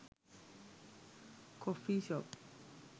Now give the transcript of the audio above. coffee shop